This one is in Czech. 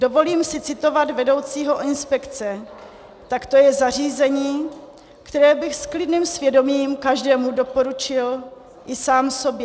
Dovolím si citovat vedoucího inspekce: "Tak to je zařízení, které bych s klidným svědomím každému doporučil, i sám sobě."